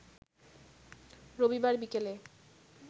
রবিবার বিকেলে